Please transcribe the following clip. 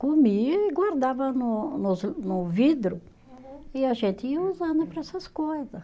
Comia e guardava no nos no vidro. Uhum. E a gente ia usando para essas coisas.